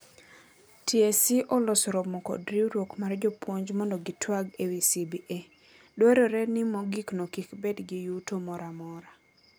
TSC oloso romo kod riwruok mar jopuonj mondo gitwag ewi CBA. Dwarore ni mogikno kik bed gi yuto moramora.